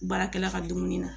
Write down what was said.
Baarakɛla ka dumuni na